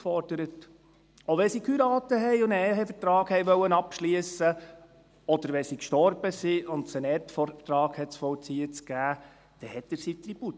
Auch wenn sie heirateten und einen Ehevertrag abschliessen wollten, oder wenn sie starben und es einen Erbvertrag zu vollziehen gab, forderte er seinen Tribut.